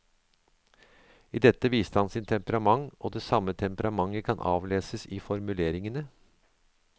I dette viste han sitt temperament, og det samme temperamentet kan avleses i formuleringene.